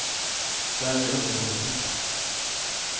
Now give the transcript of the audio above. Där är det underbart att sitta.